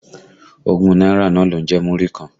Ogún náírà náà ló ń jẹ́ Múrí kan.